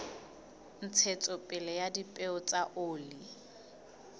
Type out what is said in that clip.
ntshetsopele ya dipeo tsa oli